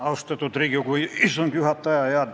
Austatud Riigikogu istungi juhataja!